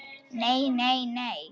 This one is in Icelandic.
Nei, nei nei.